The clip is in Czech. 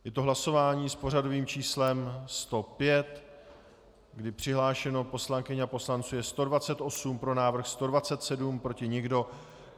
Je to hlasování s pořadovým číslem 105, kdy přihlášeno poslankyň a poslanců je 128, pro návrh 127, proti nikdo.